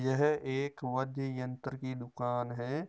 यह एक वाध्ये यंत्र की दुकान है।